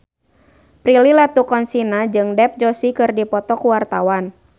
Prilly Latuconsina jeung Dev Joshi keur dipoto ku wartawan